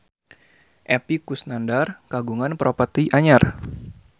Epy Kusnandar kagungan properti anyar